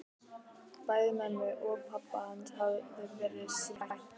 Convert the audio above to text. Bæði mömmu og pabba hans hafði verið rænt.